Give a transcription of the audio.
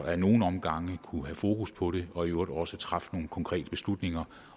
ad nogle omgange har kunnet have fokus på det og i øvrigt også træffe nogle konkrete beslutninger